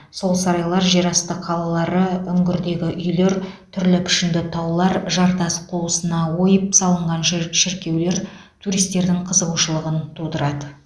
сол сарайлар жерасты қалалары үңгірдегі үйлер түрлі пішінді таулар жартас қуысына ойып салынған ші шіркеулер туристердің қызығушылығын тудырады